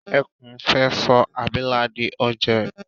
Ẹkún fẹ́ sọ abilà di oúnjẹ